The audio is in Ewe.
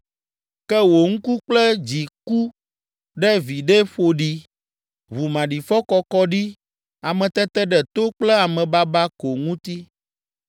“Ke wò ŋku kple dzi ku ɖe viɖe ƒoɖi, ʋu maɖifɔ kɔkɔ ɖi, ameteteɖeto kple amebaba ko ŋuti.”